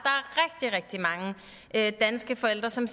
at danske forældre som